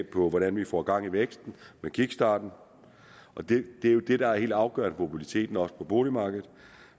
på hvordan vi får gang i væksten med kickstarten og det er jo det der er helt afgørende for mobiliteten også på boligmarkedet